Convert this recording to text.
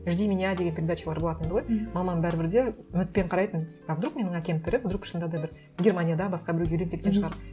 жди меня деген передачалар болатын еді ғой мамам бәрібір де үмітпен қарайтын а вдруг менің әкем тірі вдруг шынында да бір германияда басқа біреуге үйленіп кеткен шығар